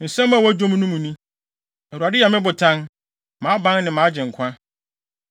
Nsɛm a ɛwɔ dwom no mu ni: “ Awurade yɛ me botan, mʼaban ne mʼagyenkwa;